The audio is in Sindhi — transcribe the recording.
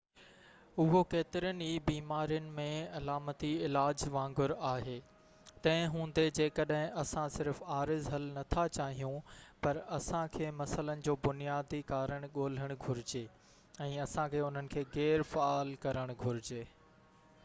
اهو ڪيترين ئي بيمارين ۾ علامتي علاج وانگر آهي تنهن هوندي جيڪڏهن اسان صرف عارض حل نٿا چاهيون پر اسان کي مسئلن جو بنيادي ڪارڻ ڳولهڻ گهرجي ۽ اسان کي انهن کي غير فعال ڪرڻ گهرجي